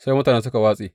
Sai mutane suka watse.